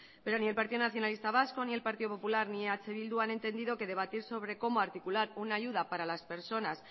pero ni el partido nacionalista vasco ni el partido popular ni eh bildu han entendido que debatir sobre cómo articular una ayuda para las personas